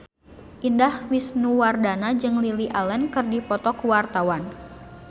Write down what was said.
Indah Wisnuwardana jeung Lily Allen keur dipoto ku wartawan